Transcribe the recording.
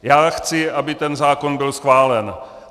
Já chci, aby ten zákon byl schválen.